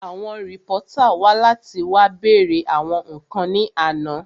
Àwọn rìpọ́tà wá láti wá bèèrè àwọn ǹkan ní àná